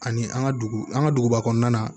Ani an ka dugu an ka duguba kɔnɔna na